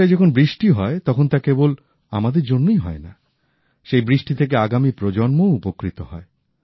বর্ষায় যখন বৃষ্টি হয় তখন তা কেবল আমাদের জন্যই হয় না সেই বৃষ্টি থেকে আগামী প্রজন্মও উপকৃত হয়